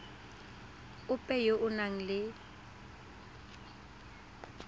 ope yo o nang le